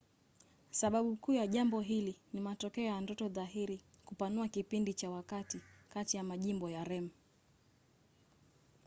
sababu kuu ya jambo hili ni matokeo ya ndoto dhahiri kupanua kipindi cha wakati kati ya majimbo ya rem